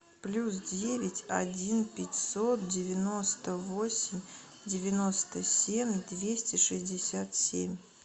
плюс девять один пятьсот девяносто восемь девяносто семь двести шестьдесят семь